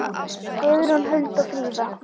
Guðrún, Hulda og Fríða.